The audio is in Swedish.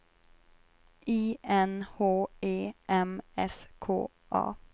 I N H E M S K A